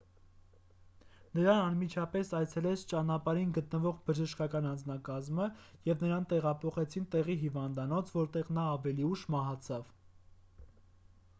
նրան անմիջապես այցելեց ճանապարհին գտնվող բժշկական անձնակազմը և նրան տեղափոխեցին տեղի հիվանդանոց որտեղ նա ավելի ուշ մահացավ